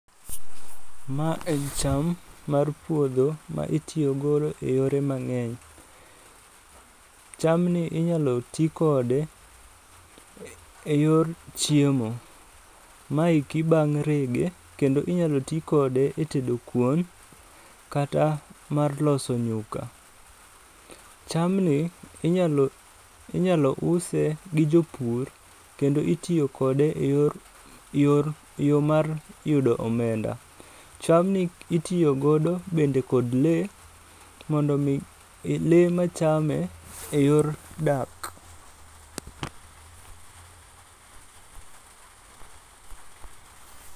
Ma en cham mar puodho ma itiyogo e yore mang'eny. Cham ni inyalo tii kode e yor chiemo. Maeki bang' rege, kendo inyalo tii kode e tedo kuon kata mar loso nyuka. Cham ni inyalo inyalo use gi jopur, kendo itiyo kode e yor e yor eyo mar yudo omenda. Cham ni itiyo godo bende kod lee mondo mii, lee machame e yor dak.